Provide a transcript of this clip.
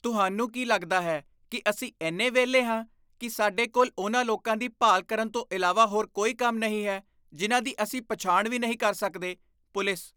ਤੁਹਾਨੂੰ ਕੀ ਲੱਗਦਾ ਹੈ ਕੀ ਅਸੀਂ ਇੰਨੇ ਵਿਹਲੇ ਹਾਂ ਕੀ ਸਾਡੇ ਕੋਲ ਉਨ੍ਹਾਂ ਲੋਕਾਂ ਦੀ ਭਾਲ ਕਰਨ ਤੋਂ ਇਲਾਵਾ ਹੋਰ ਕੋਈ ਕੰਮ ਨਹੀਂ ਹੈ ਜਿਨ੍ਹਾਂ ਦੀ ਅਸੀਂ ਪਛਾਣ ਵੀ ਨਹੀਂ ਕਰ ਸਕਦੇ? ਪੁਲਿਸ